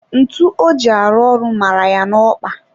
Ntu o ji arụ ọrụ mara ya n'okpa ya